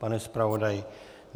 Pane zpravodaji?